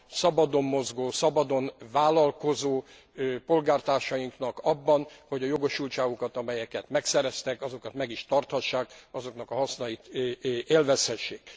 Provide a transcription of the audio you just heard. szabadon mozgó, szabadon vállalkozó polgártársainknak abban, hogy a jogosultágukat, amiket megszereztek, azokat meg is tarthassák, azoknak a hasznait élvezhessék.